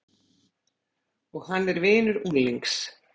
Og hann er vinur unglings.